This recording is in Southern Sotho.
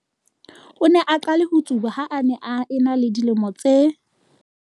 O ne a qale ho tsuba ha a ne a ena le dilemo tse